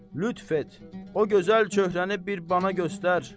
Lütf et, o gözəl çöhrəni bir bana göstər!